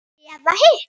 Eða hitt?